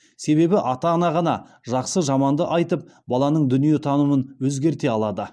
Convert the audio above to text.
себебі ата ана ғана жақсы жаманды айтып баланың дүниетанымын өзгерте алады